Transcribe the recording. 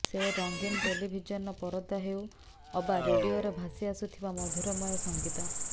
ସେ ରଙ୍ଗୀନ ଟେଲିଭିଜନର ପରଦା ହେଉ ଅବା ରେଡିଓରୁ ଭାସି ଆସୁଥିବା ମଧୁରମୟ ସଙ୍ଗୀତ